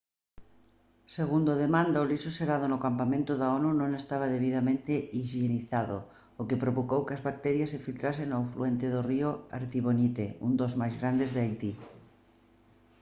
segundo a demanda o lixo xerado no campamento da onu non estaba debidamente hixienizado o que provocou que as bacterias se filtrasen ao afluente do río artibonite un dos máis grandes de haití